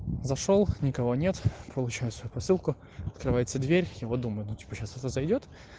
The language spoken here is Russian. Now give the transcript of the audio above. зашёл никого нет получаю свою посылку открывается дверь и вот думаю ну типа сейчас кто-то зайдёт